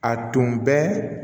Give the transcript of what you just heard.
A tun bɛ